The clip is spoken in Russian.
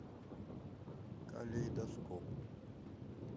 калейдоскоп